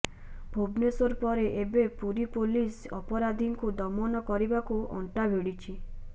ଭୁବନେଶ୍ବର ପରେ ଏବେ ପୁରୀ ପୋଲିସ ଅପରାଧୀଙ୍କୁ ଦମନ କରିବାକୁ ଅଣ୍ଟାଭିଡ଼ିଛି